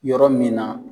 Yɔrɔ min na